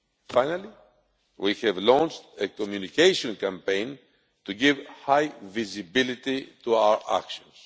Finally, we have launched a communication campaign to give high visibility to our actions.